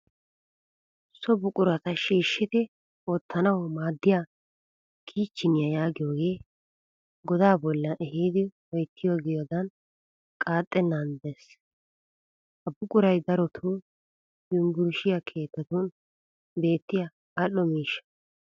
So buqurata shiishshidi wottanawu maaddiya "kicheniya" yaagiyoogee godaa boollaan ehiidi oyittiyaaggidoogee qaaxxenaage des. Ha buquray darotoo yumburshiya keettatun beettiya al'o miishsha.